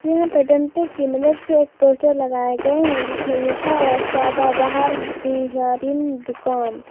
यहां पे डंडे की मदद से एक पोस्टर लगाया गए है जिसमें लिखा हुआ सदाबहार बिहारिनी दुकान।